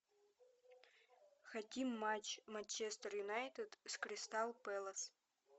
хотим матч манчестер юнайтед с кристал пэлас